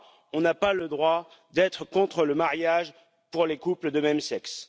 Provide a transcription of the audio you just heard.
on n'a pas le droit d'être contre le mariage pour les couples de même sexe.